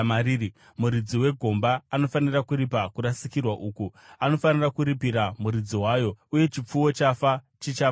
muridzi wegomba anofanira kuripa kurasikirwa uku; anofanira kuripira muridzi wayo, uye chipfuwo chafa chichava chake.